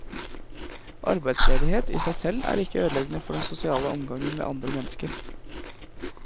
Arbeidsledighet i seg selv er ikke ødeleggende for den sosiale omgangen med andre mennesker.